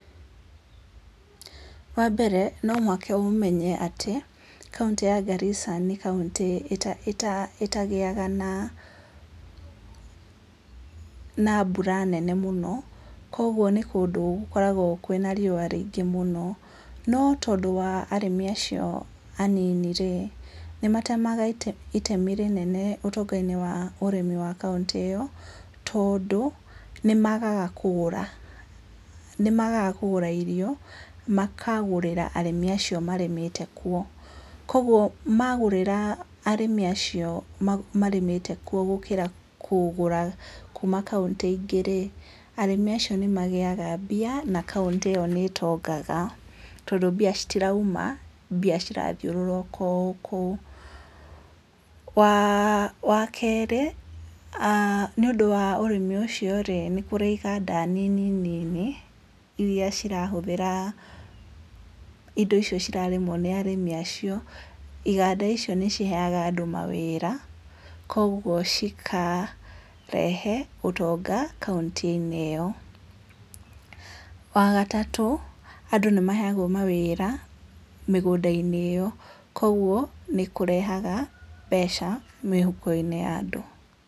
Wa mbere, no mũhaka mũmenye atĩ, kauntĩ ya Garissa nĩ kauntĩ ĩta ĩta ĩtagĩyaga na, na mbura nene mũno, koguo nĩ kũndũ gũkoragwo kwina riũwa raingĩ mũno, no tondũ wa arĩmi acio anini rĩ, nĩ matema ite itemi rĩnene ũtonga-inĩ wa kauntĩ ĩyo, tondũ nĩ magaga kũgũra, nĩ magaga kũgũra irio, makagũrĩra arĩmi acio marĩmĩte kuo, koguo magũrĩra arĩmi acio marĩmĩte kuo, koguo ma gũrĩra arĩmi acio marĩmĩte kuo, gũkĩra kũgũra kuuma kauntĩ ingĩ rĩ, arĩmi acio nĩ mangĩyaga mbia na kauntĩ ĩyo nĩ ĩtongaga, tondũ mbia citiraima, mbia cirathiũrũrũka o kũu, waa wa kerĩ, aah nĩ ũndũ wa ũrĩmi ũcio rĩ, nĩ kũrĩ iganda nini nini, iria cirahũthĩra indo icio cirarĩmwo nĩ arĩmi acio, iganda icio nĩ ciheyaga andũ mawĩra, koguo cikarehe ũtonga kaunti-inĩ ĩyo, wa gatatũ, andũ nĩ maheyagwo mawĩra, mĩgũnda-inĩ ĩyo, koguo nĩ kũrehgaga mbeca, mĩhuko-inĩ ya andũ.